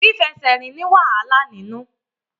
Fífẹsẹ̀rìn ní wàhálà nínú.